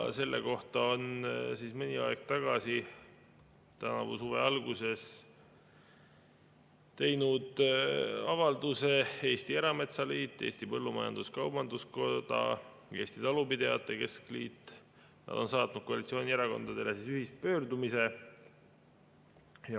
Selle kohta on mõni aeg tagasi, tänavu suve alguses teinud avalduse Eesti Erametsaliit, Eesti Põllumajandus-Kaubanduskoda, Eestimaa Talupidajate Keskliit, nad on saatnud koalitsioonierakondadele ühispöördumise.